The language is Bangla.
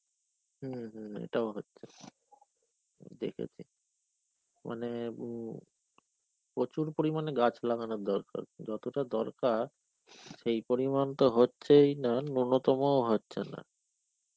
হম হম এটাও হচ্ছে. দেখেছি. মানে উম প্রচুর পরিমানে গাছ লাগানোর দরেকার. যতটা দরকার সেই পরিমান তো হচ্ছেই না নূনতমও হচ্ছে না.